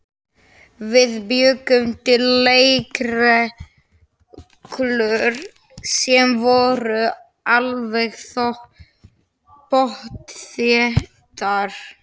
Við bjuggum til leikreglur sem voru alveg pottþéttar.